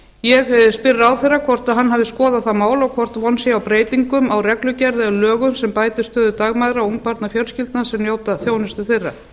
ég spyr ráðherra hvort hann hafi skoðað það mál og hvort von sé á breytingum á reglugerð eða lögum sem bætir stöðu dagmæðra og ungbarnafjölskyldna sem njóta þjónustu þeirra